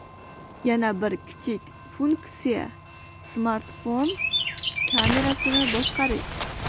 Yana bir kichik funksiya smartfon kamerasini boshqarish.